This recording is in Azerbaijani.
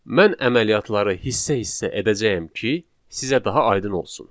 Mən əməliyyatları hissə-hissə edəcəyəm ki, sizə daha aydın olsun.